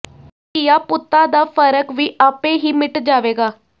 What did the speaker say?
ਧੀਆਂ ਪੁੱਤਾਂ ਦਾ ਫਰਕ ਵੀ ਆਪੇ ਹੀ ਮਿਟ ਜਾਵੇਗਾ